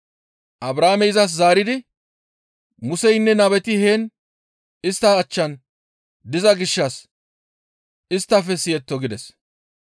«Abrahaamey izas zaaridi, ‹Museynne nabeti heen istta achchan diza gishshas isttafe siyetto› gides.